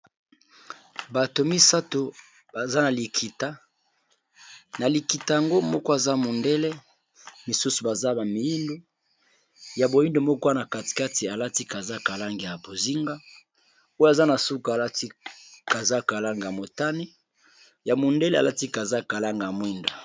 Bato misato baza na likita, na likita yango moko aza mondele misusu baza ba miyindo ya boyindo moko ana kati kati alati kazaka langi ya bozinga oyo aza na suka alati kazaka ya langi ya motane mondele alati kazaka langi ya mwindo.